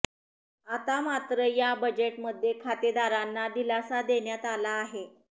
आता मात्र या बजेटमध्ये खातेदारांना दिलासा देण्यात आला आहे